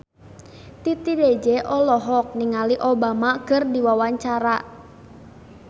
Titi DJ olohok ningali Obama keur diwawancara